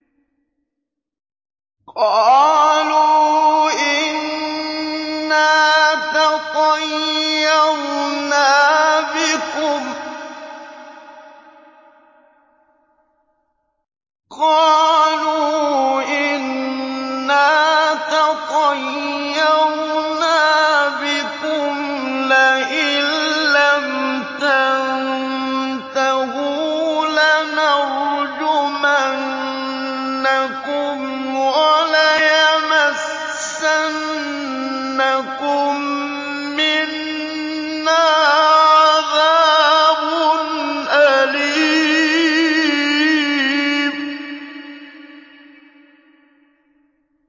قَالُوا إِنَّا تَطَيَّرْنَا بِكُمْ ۖ لَئِن لَّمْ تَنتَهُوا لَنَرْجُمَنَّكُمْ وَلَيَمَسَّنَّكُم مِّنَّا عَذَابٌ أَلِيمٌ